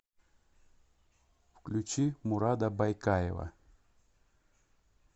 включи мурада байкаева